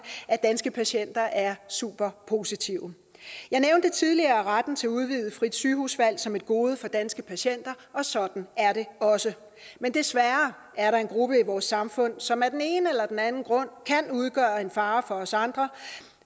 at danske patienter er super positive jeg nævnte tidligere retten til udvidet frit sygehusvalg som et gode for danske patienter og sådan er det også men desværre er der en gruppe i vores samfund som af den ene eller den anden grund kan udgøre en fare for os andre